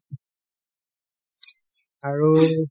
আৰু